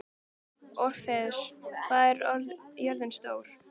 Orfeus, hvað er jörðin stór?